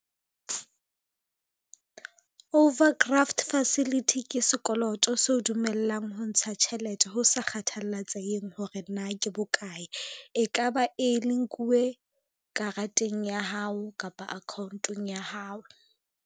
Overcraft facility, ke sekoloto seo dumellang ho ntsha tjhelete ho sa kgathalatsehe hore na ke bokae, e ka ba e ne nkuwe karateng ya hao kapa account-ong ya hao.